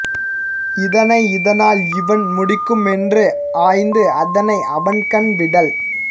இதனை இதனால் இவன் முடிக்கும் என்று ஆய்ந்து அதனை அவன்கண் விடல்